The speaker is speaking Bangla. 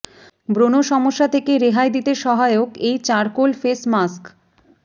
ব্রণ সমস্যা থেকে রেহাই দিতে সহায়ক এই চারকোল ফেস মাস্ক